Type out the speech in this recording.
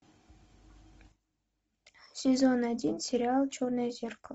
сезон один сериал черное зеркало